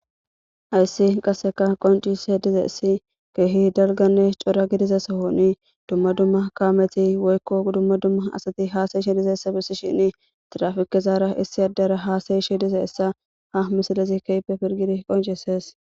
hayssi qasseka qoncise dizaysi keehi dalganne cora gidiza sohoni dumma dumma kaameti woykko dumma dumma asati haasayishe dizaysa besishin tirafikezara issi addara haasayishe dizaysa ha misilezi keehippe pilgidi qoncises.